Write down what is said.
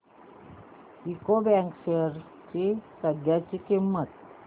UCO bank shares ची सध्याची किंमत